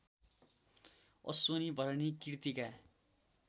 Ashwini Bharani Kritika